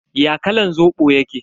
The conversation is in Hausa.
Ya kalan Zobo yake?